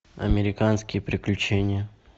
американские приключения